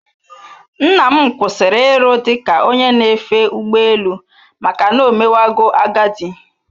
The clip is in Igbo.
Nnam kwụsịrị iru dị ka onye na-efe ụgbọ elu maka na omewago agadi